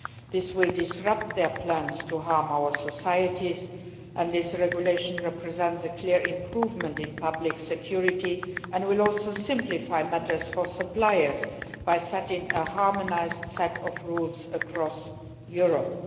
It will disrupt their plans to harm our societies. This regulation represents a clear improvement in public security and will also simplify matters for suppliers by establishing a harmonised set of rules across Europe.